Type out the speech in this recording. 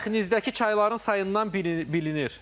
Mətbəxinizdəki çayların sayından bilinir.